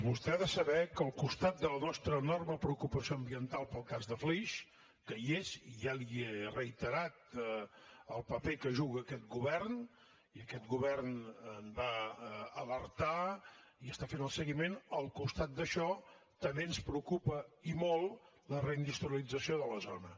vostè ha de saber que al costat de la nostra enorme preocupació ambiental pel cas de flix que hi és i ja li he reiterat el paper que juga aquest govern i aquest govern en va alertar i n’està fent el seguiment al costat d’això també ens preocupa i molt la reindustrialització de la zona